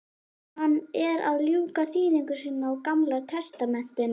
Hann er að ljúka þýðingu sinni á gamla testamentinu.